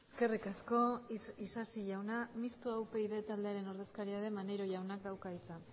eskerrik asko isasi jauna mistoa upyd taldearen ordezkaria den maneiro jaunak dauka hitza